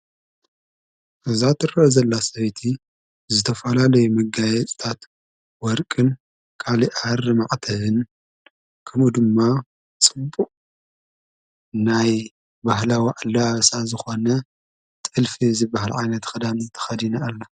እዛ ትረኣ ዘላ ሰበይቲ ብዝተፈላለዩ መጋየፂታት ወርቅን ካሊእ ሃሪ ማዕተብን ከምኡ ድማ ፁቡቅ ናይ ባህላዊ ኣለባብሳ ዝኮነ ጥልፊ ዝበሃል ዓይነት ክዳን ተከዲና ኣላ።